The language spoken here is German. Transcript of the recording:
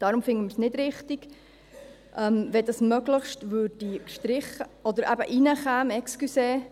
Deshalb fänden wir es nicht richtig, wenn dieses «möglichst» gestrichen würde oder eben – entschuldigen Sie – reinkäme.